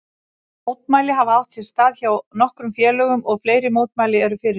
Mótmæli hafa átt sér stað hjá nokkrum félögum og fleiri mótmæli eru fyrirhuguð.